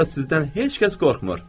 Burada sizdən heç kəs qorxmur.